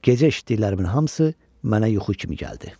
Gecə eşitdiklərimin hamısı mənə yuxu kimi gəldi.